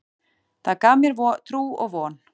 Það gaf mér trú og von.